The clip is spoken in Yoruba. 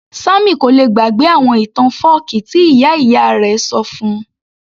Sammy kò lè gbàgbé àwọn ìtàn fọ́ọ̀kí tí ìyá ìyá rẹ̀ ṣọ fún -un